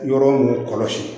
Yɔrɔ ninnu kɔlɔsi